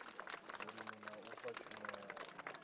vhulimi na u fha tshumelo